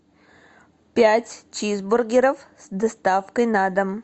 пять чизбургеров с доставкой на дом